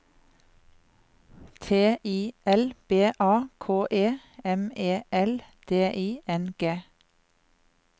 T I L B A K E M E L D I N G